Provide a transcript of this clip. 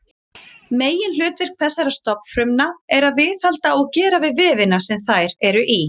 Meginhlutverk þessara stofnfrumna er að viðhalda og gera við vefina sem þær eru í.